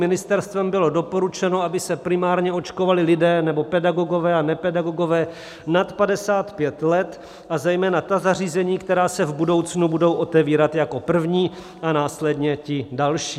Ministerstvem bylo doporučeno, aby se primárně očkovali lidé nebo pedagogové a nepedagogové nad 55 let, a zejména ta zařízení, která se v budoucnu budou otevírat jako první, a následně ti další.